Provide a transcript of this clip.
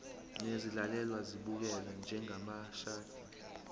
nezilalelwa zibukelwe njengamashadi